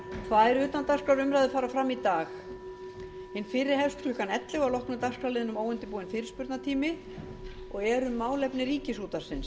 tvær utandagskrárumræður fara fram í dag hin fyrri hefst klukkan ellefu að loknum dagskrárliðnum óundirbúinn fyrirspurnatími og er um málefni ríkisútvarpsins